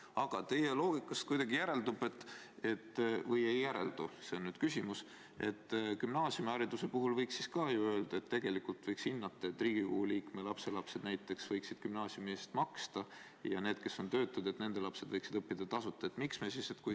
Aga teie loogikast kuidagi järeldub – või ei järeldu, see ongi küsimus –, et vahest gümnaasiumihariduse puhul võiks ka olla nii, et näiteks Riigikogu liikme lapselapsed võiksid gümnaasiumi eest maksta ja kui vanemad on töötud, siis nende lapsed võiksid õppida tasuta.